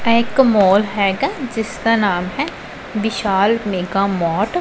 ਇਹ ਇਕ ਮੋਲ ਹੈਗਾ ਜਿਸਦਾ ਨਾਮ ਹੈ ਵਿਸ਼ਾਲ ਮੇਗਾ ਮੋਟ ।